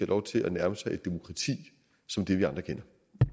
lov til at nærme sig et demokrati som det vi andre kender